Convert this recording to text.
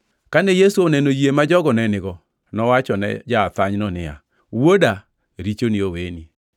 Kane Yesu oneno yie ma jogo ne nigo, nowachone ja-athanyno niya, “Wuoda, richoni oweni.”